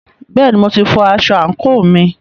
Bẹ́ẹ̀ni, mo ti fọ aṣọ àǹkóò mi.